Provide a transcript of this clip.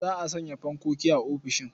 Za a sanya fankoki a ofisishin.